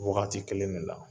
Wagati kelen de la.